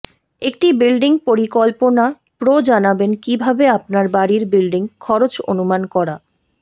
একটি বিল্ডিং পরিকল্পনা প্রো জানাবেন কিভাবে আপনার বাড়ির বিল্ডিং খরচ অনুমান করা